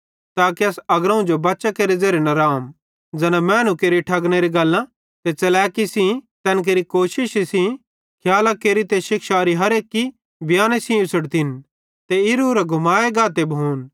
ताके अस अग्रोवं जो बच्चां केरे ज़ेरे न रहम ज़ैना मैनू केरि ठगनेरी गल्लां ते च़लैकी सेइं तैन केरे कोशिशी सेइं खियालां केरि ते शिक्षारी हर एक्की बयाने सेइं उछ़ड़ाए ते इरां उरां घुमाए गाते भोन